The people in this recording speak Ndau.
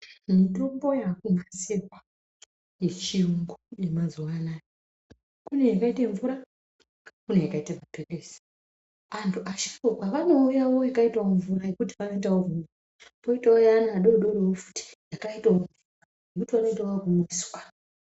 Mitombo yakunasirwa yechiyungu yemazuwa anaya kune yakaite mvura kune yakaita mapilizi antu asharukwa vanomwe yakaitawo mvura yekuti vanoitawo kwoitawo yevana vadodori futi yakaitawo mvura wotoata akuitiswa.